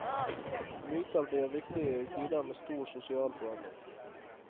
Myter blir viktigere i tider med stor sosial forandring.